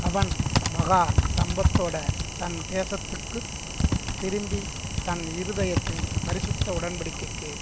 அவன் மகா சம்பத்தோட தன் தேசத்துக்கு திரும்பி தன் இருதயத்தைப் பரிசுத்த உடன்படிக்கைக்கு